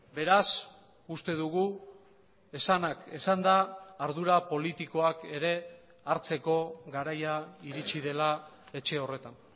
beraz uste dugu esanak esanda ardura politikoak ere hartzeko garaia iritsi dela etxe horretan